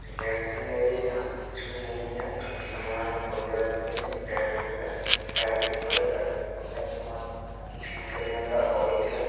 Repair के लिए आयी है यहाँ कुछ भी नहीं है खाली सामान है कोई आदमी नहीं है टायर - ट्यूब है साइड में गाड़ी में सामान ठीक करने वाला ऑइल है ।